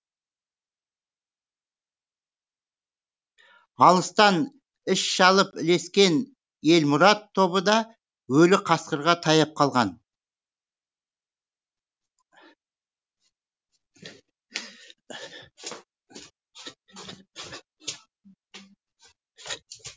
алыстан із шалып ілескен елмұрат тобы да өлі қасқырға таяп қалған